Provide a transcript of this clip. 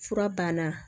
Fura banna